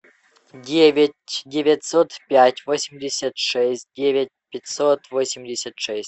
девять девятьсот пять восемьдесят шесть девять пятьсот восемьдесят шесть